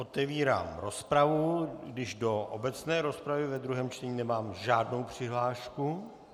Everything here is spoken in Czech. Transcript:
Otevírám rozpravy, když do obecné rozpravy ve druhém čtení nemám žádnou přihlášku.